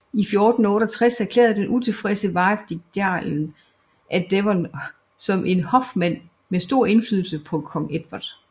I 1468 erklærde den utilfredse Warwick jarlen af Devon som en hofmand med for stor indflydelse på kong Edvard